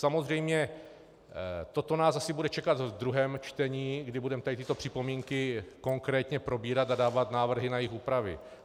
Samozřejmě toto nás asi bude čekat v druhém čtení, kdy budeme tyto připomínky konkrétně probírat a dávat návrhy na jejich úpravy.